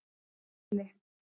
Dolli